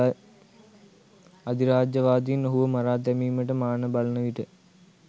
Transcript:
අධිරාජ්‍යවාදීන් ඔහුව මරා දැමීමට මාන බලනවිට